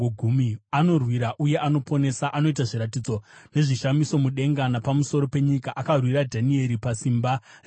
Anorwira uye anoponesa; anoita zviratidzo nezvishamiso mudenga napamusoro penyika. Akarwira Dhanieri pasimba reshumba.”